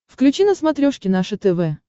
включи на смотрешке наше тв